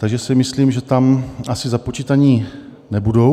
Takže si myslím, že tam asi započítaní nebudou.